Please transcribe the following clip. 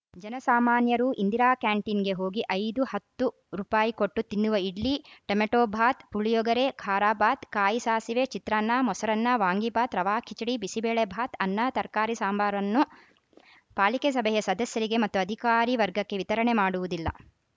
ಜನ ಸಾಮಾನ್ಯರು ಇಂದಿರಾ ಕ್ಯಾಂಟೀನ್‌ಗೆ ಹೋಗಿ ಐದು ಹತ್ತು ರುಪಾಯಿ ಕೊಟ್ಟು ತಿನ್ನುವ ಇಡ್ಲಿ ಟಮಟೋಬಾತ್‌ ಪುಳಿಯೋಗರೆ ಖಾರಾಬಾತ್‌ ಕಾಯಿ ಸಾಸಿವೆ ಚಿತ್ರನ್ನಾ ಮೊಸರನ್ನ ವಾಂಗಿಬಾತ್‌ ರವಾ ಕಿಚಡಿ ಬಿಸಿಬೇಳೆ ಬಾತ್‌ ಅನ್ನ ತರಕಾರಿ ಸಾಂಬಾರ್‌ವನ್ನು ಪಾಲಿಕೆ ಸಭೆಯ ಸದಸ್ಯರಿಗೆ ಮತ್ತು ಅಧಿಕಾರಿ ವರ್ಗಕ್ಕೆ ವಿತರಣೆ ಮಾಡುವುದಿಲ್ಲ